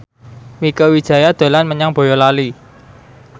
Mieke Wijaya dolan menyang Boyolali